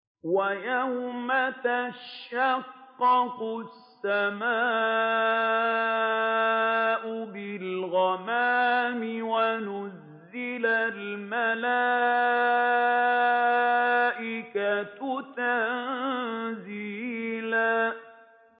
وَيَوْمَ تَشَقَّقُ السَّمَاءُ بِالْغَمَامِ وَنُزِّلَ الْمَلَائِكَةُ تَنزِيلًا